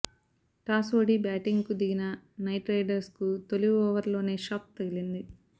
toss ఓడి batting కు దిగిన నైట్ రైడర్స్ కు తొలిఓవర్ లోనే షాక్ తగిలింది